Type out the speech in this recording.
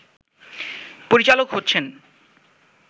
পরিচালক হচ্ছেন